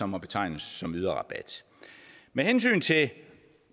må betegnes som yderrabat med hensyn til